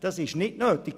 – Das ist nicht nötig.